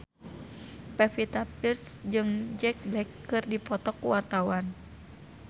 Pevita Pearce jeung Jack Black keur dipoto ku wartawan